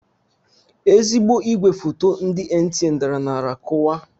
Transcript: Ezigbo igwe foto ndị NTA dara n'ala kuwaa.